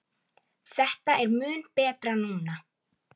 Þetta er mun betra núna.